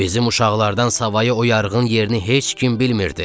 Bizim uşaqlardan savayı o yarğan yerini heç kim bilmirdi.